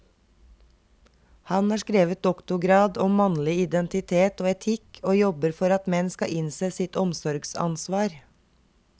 Han har skrevet doktorgrad om mannlig identitet og etikk, og jobber for at menn skal innse sitt omsorgsansvar.